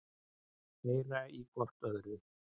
Heyra í hvort öðru.